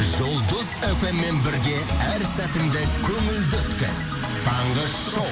жұлдыз фммен бірге әр сәтіңді көңілді өткіз таңғы шоу